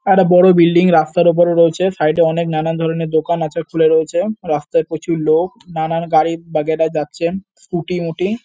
একটা বড় বিল্ডিং রাস্তার ওপরে রয়েছে। সাইড -এ অনেক নানান ধরনের দোকান আছে খুলে রয়েছে। রাস্তায় প্রচুর লোক। নানান গাড়ি বাগেরা যাচ্ছেন স্কুটি মুটি--